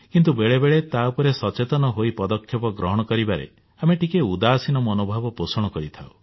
କିନ୍ତୁ ବେଳେ ବେଳେ ତା ଉପରେ ସଚେତନ ହୋଇ ପଦକ୍ଷେପ ଗ୍ରହଣ କରିବାରେ ଆମେ ଟିକିଏ ଉଦାସୀନ ମନୋଭବ ପୋଷଣ କରିଥାଉ